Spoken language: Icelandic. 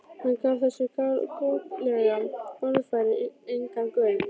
Hann gaf þessu galgopalega orðfæri engan gaum.